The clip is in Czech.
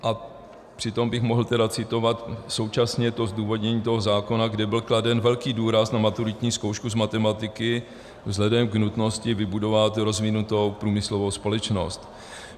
A přitom bych mohl tedy citovat současně to zdůvodnění toho zákona, kde byl kladen velký důraz na maturitní zkoušku z matematiky vzhledem k nutnosti vybudovat rozvinutou průmyslovou společnost.